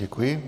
Děkuji.